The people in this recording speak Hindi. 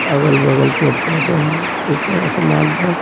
अगल-बगल पेड़-पौधे हैं ऊपर असमान है।